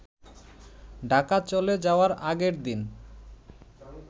ঢাকা চলে যাওয়ার আগের দিন